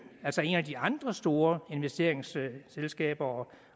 altså et af de andre store investeringsselskaber